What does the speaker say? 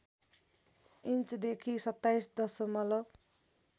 इन्चदेखि २७ दशमलव